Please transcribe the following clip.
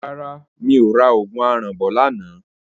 Rárá mi ò ra òògùn aràn bọ̀ lánàá.